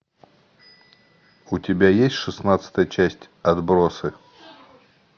у тебя есть шестнадцатая часть отбросы